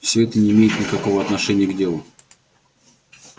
все это не имеет никакого отношения к делу